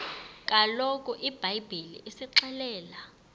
kaloku ibhayibhile isixelela